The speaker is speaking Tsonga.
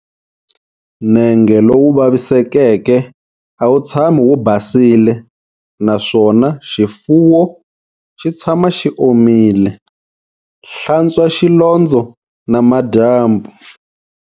Nenge lowu vavisekeke a wu tshami wu basile naswona xifuwo xi tshama xi omile, hlantswa xilondzo namadyambu.